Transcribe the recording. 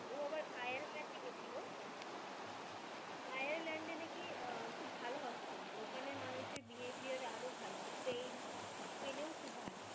গিয়েছিলো আয়ারল্যন্ডে নাকি আহ খুব ভাল hospitality ওখানে মানুষের behaviour আরো ভাল same স্পেনও খুব ভাল.